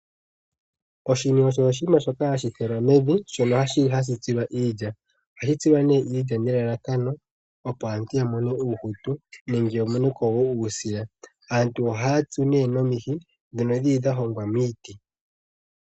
Oshini osho oshinima shoka hashi tulwa mevi, shono hashi tsilwa iilya. Ohashi tsilwa nee iilya nelalakano opo aantu ya mone uuhutu nenge ya mone ko wo uusila. Aantu ohaya tsu nee nomihi ndhono dhili dha hongwa miiti.